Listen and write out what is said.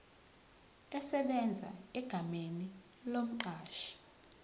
esebenza egameni lomqashi